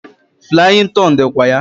Flaying ton dikwa ya.